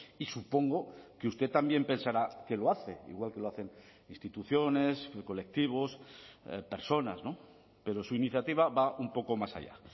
y supongo que usted también pensará que lo hace igual que lo hacen instituciones colectivos personas pero su iniciativa va un poco más allá